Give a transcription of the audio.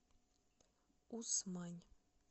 усмань